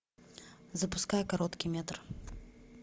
запускай короткий метр